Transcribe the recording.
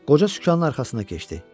Qoca sükanın arxasına keçdi.